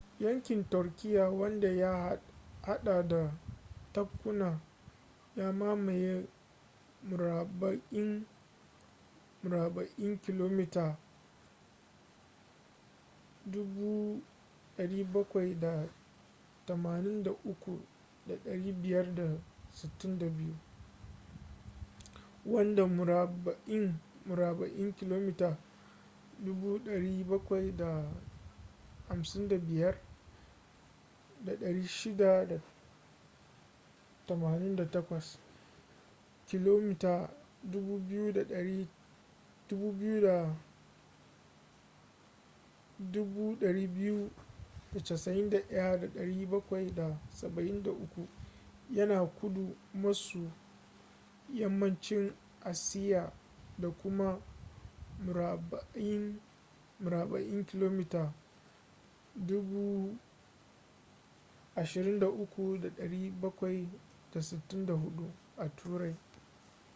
yankin turkiyya wanda ya hada da tabkuna ya mamaye murabba'in murabba'in kilomita 783,562 300,948 sq mi wanda murabba'in murabba'in kilomita 755,688 kilomita 291,773 yana kudu maso yammacin asiya da kuma murabba'in murabba’in kilomita 23,764 9,174 sq mi a turai